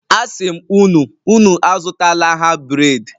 asim unu, Unu azutala ha bred.